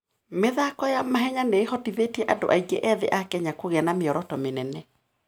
mĩthako ya mahenya nĩ ĩhotithĩtie andũ aingĩ ethĩ a Kenya kũgĩa na mĩoroto mĩnene.